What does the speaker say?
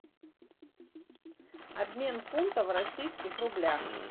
обмен фунтов в российских рублях